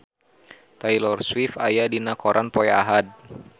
Taylor Swift aya dina koran poe Ahad